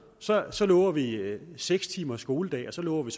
så så lover vi en seks timers skoledag så lover vi